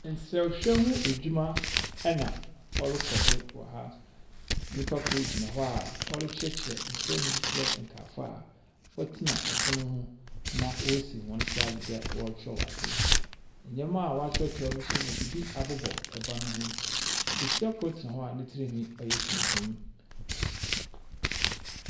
Nsahwɛ mu edwuma na ɔrokɔ do wɔ ha. Nyimpa kor gyina hɔ a ɔrekyerɛkyerɛ nsɛm mu dze kyerɛ kaafo a wɔtsena pon ho na woesi hɔn nsa adze dɛ wɔrekyerɛw adze. Ndzɛmba a wɔakyerɛwkyerɛw no nso wɔdze bi abobɔ ban ho Besia kor tsena hɔ a ne tsirnhwi ɔyɛ tuntum.